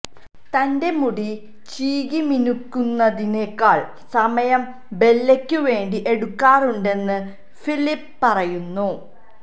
തന്റെ മുടി ചീകിമിനുക്കുന്നതിനേക്കാൾ സമയം ബെല്ലയ്ക്കു വേണ്ടി എടുക്കാറുണ്ടെന്ന് ഫിലിപ്പ പറയുന്നു